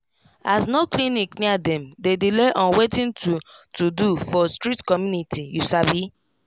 as no clinic near dem dey delay on watin to to do for strict community you sabi